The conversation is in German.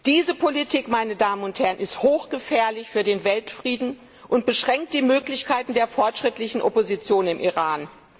Diese Politik, meine Damen und Herren, ist hochgefährlich für den Weltfrieden und beschränkt die Möglichkeiten der fortschrittlichen Opposition im Iran.